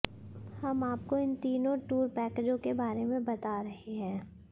हम आपको इन तीनों टूर पैकेजों के बारे में बता रहे हैं